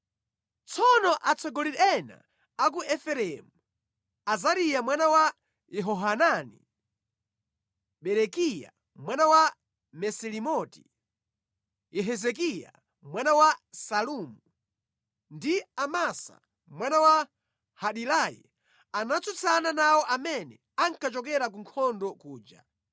Tsono atsogoleri ena a ku Efereimu, Azariya mwana wa Yehohanani, Berekiya mwana wa Mesilemoti, Yehizikiya mwana wa Salumu, ndi Amasa mwana wa Hadilayi anatsutsana nawo amene ankachokera ku nkhondo kuja.